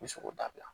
N bɛ se k'o dabila